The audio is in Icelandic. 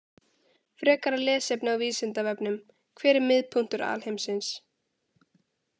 Frekara lesefni á Vísindavefnum: Hver er miðpunktur alheimsins?